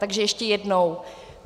Takže ještě jednou.